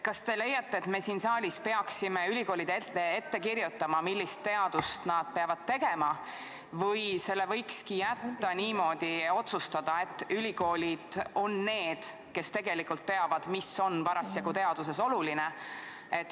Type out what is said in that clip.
Kas te leiate, et me siin saalis peaksime ülikoolidele ette kirjutama, millist teadust nad peavad tegema, või võikski jätta selle niimoodi, et ülikoolid on need, kes teavad, mis on parasjagu teaduses oluline?